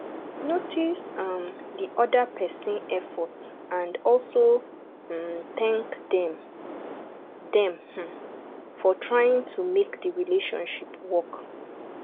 notice um di oda person effort and also um thank them them um for trying to make di relationship work